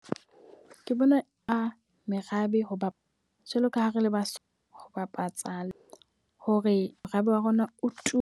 Ke bona a merabe. Ho ba jwalo ka ha re le Basotho ho bapatsa hore morabe wa rona o tume.